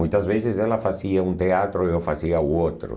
Muitas vezes ela fazia um teatro e eu fazia o outro.